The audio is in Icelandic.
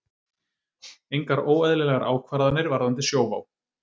Engar óeðlilegar ákvarðanir varðandi Sjóvá